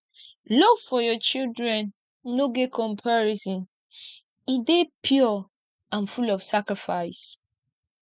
love for your children no get comparison e dey pure and full of sacrifice